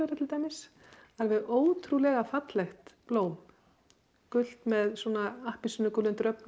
til dæmis alveg ótrúlega fallegt blóm gult með appelsínugulum